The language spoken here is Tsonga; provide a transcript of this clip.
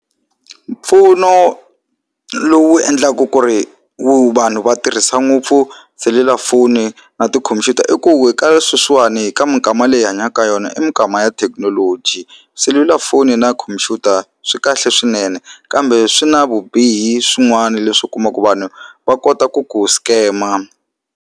Mpfuno lowu endlaku ku ri wu vanhu va tirhisa ngopfu selulafoni na tikhompyuta i ku sweswiwani ka mikama leyi hi hanyaka eka yona i mikama ya thekinoloji selulafoni na khompyuta swi kahle swinene kambe swi na vubihi swin'wana leswi u kumaka vanhu va kota ku ku scam-a.